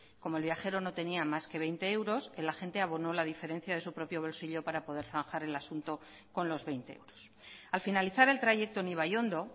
como el viajero no tenía más que veinte euros el agente abonó la diferencia de su propio bolsillo para poder zanjar el asunto con los veinte euros al finalizar el trayecto en ibaiondo